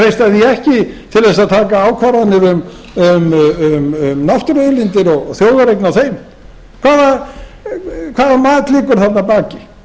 undir en treysta því ekki til þess að taka ákvarðanir um náttúruauðlindir og þjóðareign á þeim hvaða mat liggur þarna að baki